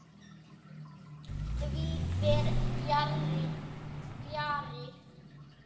Því fer fjarri.